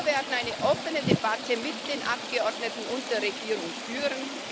Wir werden eine offene Debatte mit den Abgeordneten und der Regierung führen.